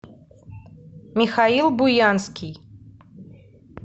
михаил буянский